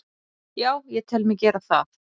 Já, ég tel mig gera það.